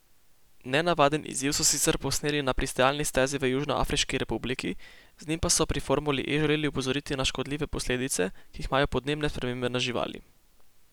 Nenavaden izziv so sicer posneli na pristajalni stezi v Južnoafriški republiki, z njim pa so pri formuli E želeli opozoriti na škodljive posledice, ki jih imajo podnebne spremembe na živali.